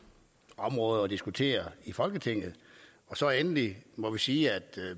område at diskutere i folketinget endelig må vi sige at